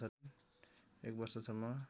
एक वर्षसम्म